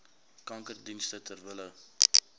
kankerdienste ter wille